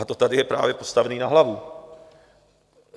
Ale to tady je právě postavené na hlavu.